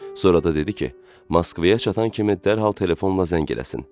Sonra da dedi ki, Moskvaya çatan kimi dərhal telefonla zəng eləsin.